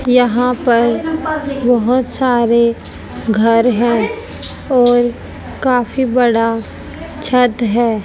यहां पर बहोत सारे घर है और काफी बड़ा छत हैं।